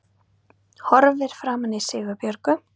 Horfir framan í Sigurbjörgu